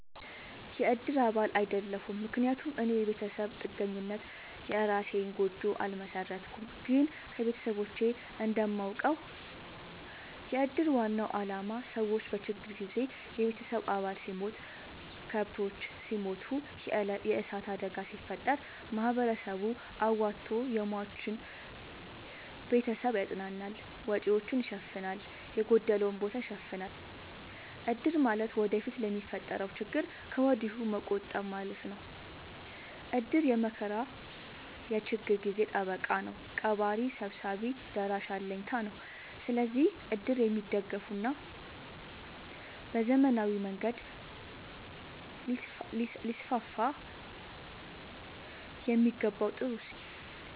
የእድር አባል አይደለሁም። ምክንያቱም እኔ የቤተሰብ ጥገኛነኝ የእራሴን ጎጆ አልመሠረትኩም። ግን ከቤተሰቦቼ እንደማውቀው። የእድር ዋናው አላማ ሰዎች በችግር ጊዜ የቤተሰብ አባል ሲሞት፤ ከብቶች ሲሞቱ፤ የዕሳት አደጋ ሲፈጠር፤ ማህበረሰቡ አዋቶ የሟችን ቤተሰብ ያፅናናል፤ ወጪወቹን ይሸፋናል፤ የጎደለውን ቦታ ይሸፋናል። እድር ማለት ወደፊት ለሚፈጠረው ችግር ከወዲሁ መቆጠብ ማለት ነው። እድር የመከራ የችግር ጊዜ ጠበቃ ነው። ቀባሪ ሰብሳቢ ደራሽ አለኝታ ነው። ስለዚህ እድር የሚደገፋና በዘመናዊ መንገድ ሊስስፋየሚገባው ጥሩ እሴት ነው።